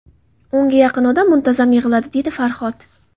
O‘nga yaqin odam muntazam yig‘iladi”, - dedi Farhod.